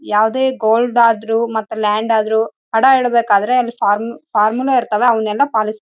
ಇಲ್ಲಿ ಫ್ಯಾನು ಇದೆ ಇಲ್ಲಿ ಎಲ್ಲಾ ವಿದ್ಯುತ್ ಬಲ್ಬ್ ಗಳು ಇವೆ.